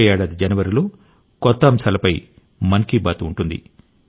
వచ్చే ఏడాది జనవరిలో కొత్త అంశాలపై మన్ కీ బాత్ ఉంటుంది